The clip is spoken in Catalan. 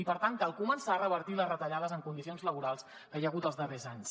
i per tant cal començar a revertir les retallades en condicions laborals que hi ha hagut els darrers anys